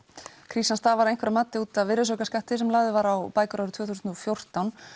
krísan stafar að einhverju mati út af virðisaukaskatti sem lagður var á bækur árið tvö þúsund og fjórtán